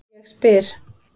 Ég spyr